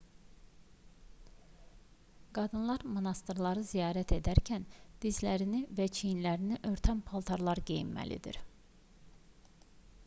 qadınlar monastırları ziyarət edərkən dizlərini və çiyinlərini örtən paltarlar geyinməlidir